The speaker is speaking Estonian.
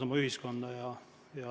Aitäh!